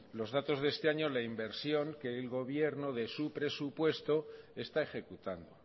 los datos de este año la inversión que el gobierno de su presupuestos está ejecutando